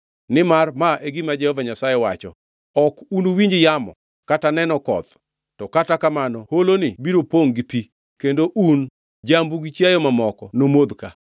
Nimar ma e gima Jehova Nyasaye wacho: Ok unuwinj yamo kata neno koth, to kata kamano holoni biro pongʼ gi pi kendo un, jambu, gi chiayo mamoko nomodh ka.